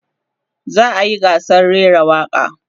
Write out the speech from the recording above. za'a yi gasar rera waƙa